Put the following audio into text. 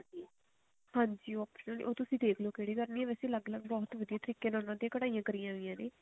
ਹਾਂਜੀ ਉਹ ਤੁਸੀਂ ਦੇਖ੍ਲਿਓ ਕਿਹੜੀ ਕਰਨੀ ਵੇਸੇ ਅਲੱਗ ਅਲੱਗ ਬਹੁਤ ਤਰੀਕੇ ਨਾਲ ਉਹਨਾ ਤੇ ਕਢਾਈਆਂ ਕਰੀਆਂ ਹੋਈਆਂ ਨੇ